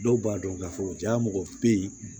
Dɔw b'a dɔn k'a fɔ ja mɔgɔ bɛ yen